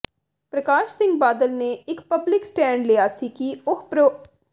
ਪ੍ਰਕਾਸ਼ ਸਿੰਘ ਬਾਦਲ ਨੇ ਇਹ public stand ਲਿਆ ਸੀ ਕਿ ਉਹ ਪ੍ਰੋ